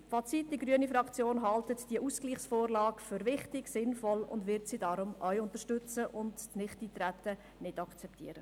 Fazit: Die grüne Fraktion hält die Ausgleichsvorlage für wichtig und sinnvoll, wird diese deshalb unterstützen und das Nichteintreten nicht akzeptieren.